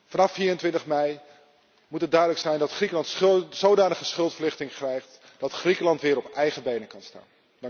Vanaf 24 mei moet het duidelijk zijn dat Griekenland zodanige schuldverlichting krijgt, dat Griekenland weer op eigen benen kan staan.